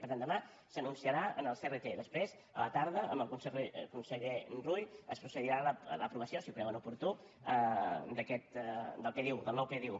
perdó demà s’anunciarà en el crt després a la tarda amb el conseller rull es procedirà a l’aprovació si ho creuen oportú del nou pdu